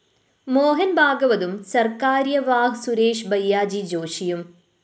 മോഹന്‍ ഭാഗവതും സിർ കാര്യ വാഹ് സുരേഷ് ഭയ്യാജി ജോഷിയും